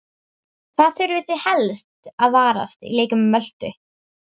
Hvað þurfið þið helst að varast í leik Möltu?